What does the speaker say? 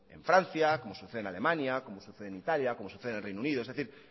en francia como sucede en alemania como sucede en italia como sucede en el reino unido es decir